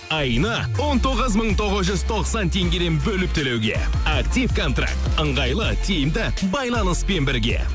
айына он тоғыз мың тоғыз жүз тоқсан теңгеден бөліп төлеуге актив контракт ыңғайлы тиімді байланыспен бірге